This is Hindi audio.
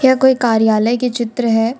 यह कोई कार्यालय के चित्र है।